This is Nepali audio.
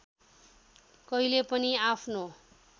कहिले पनि आफ्नो